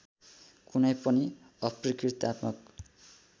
कुनै पनि अपकृत्यात्मक